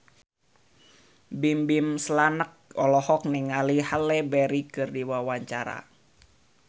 Bimbim Slank olohok ningali Halle Berry keur diwawancara